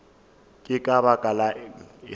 ke ka baka lang ge